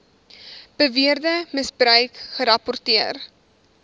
beweerde misbruik gerapporteer